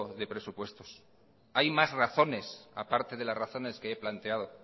de presupuestos hay más razones a parte de las razones que he planteado